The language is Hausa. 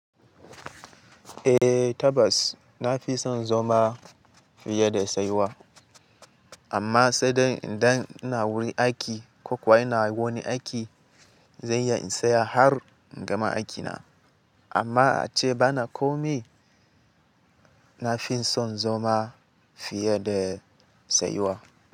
Eh tabas, na fi son zama fiye da saiwa. Amma saidai idan wuri aiki ko kuwa ina wani aiki, zan iya in tsaya har in gama aikina. Amma ace bana komai, na fi son zoma fiye da saiwa.